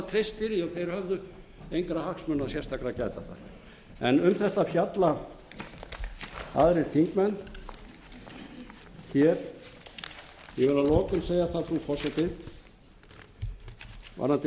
þeir höfðu engra hagsmuna sérstakra að gæta þar um þetta fjalla aðrir þingmenn hér ég vil að lokum segja það frú forseti varðandi